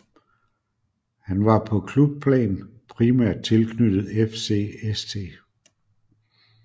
Han var på klubplan primært tilknyttet FC St